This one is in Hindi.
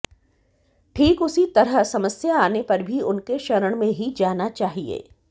ठीक उसी तरह समस्या आने पर भी उनके शरण में ही जाना चाहिए